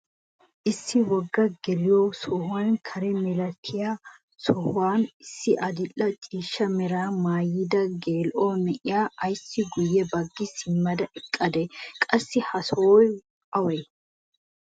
Issi wogga geliyoo sohuwaan kare milatiyaa sohuwaara issi adil'e ciishsha meraa maayida geela'o na'iyaa ayssi guye baggi simmada eqadee? Qassi ha sohoy awee?